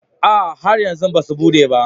A'a, har yanzu ba su bude ba